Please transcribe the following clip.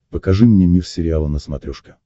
покажи мне мир сериала на смотрешке